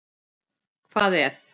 Hvað ef.?